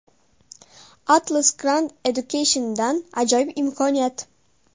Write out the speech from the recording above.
Atlas Grand Education’dan ajoyib imkoniyat!!!.